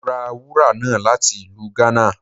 Mo ra wúra náá lati ilù Ghana.